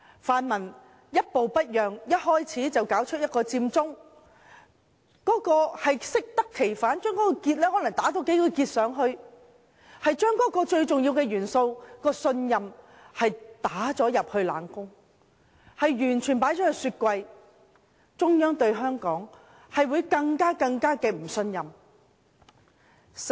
泛民一步不讓，甫開始便發起佔中，效果適得其反，在那個結上再多打幾個結，把信任這個最重要的元素打入冷宮、放入雪櫃，最終只是令中央對香港更加不信任。